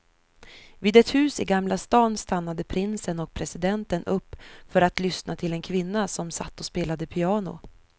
Vid ett hus i gamla stan stannade prinsen och presidenten upp för att lyssna till en kvinna som satt och spelade piano.